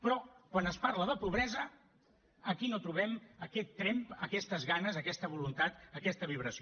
però quan es parla de pobresa aquí no trobem aquest tremp aquestes ganes aquesta voluntat aquesta vibració